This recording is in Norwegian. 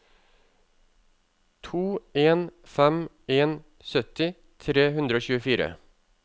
to en fem en sytti tre hundre og tjuefire